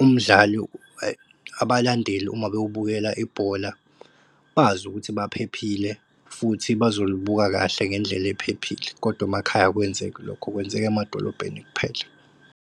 umdlali abalandeli uma bewubukela ibhola bazi ukuthi baphephile futhi bazolibuka kahle ngendlela ephephile kodwa emakhaya akwenzeki lokho, kwenzeka emadolobheni kuphela.